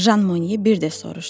Jan Mone bir də soruşdu.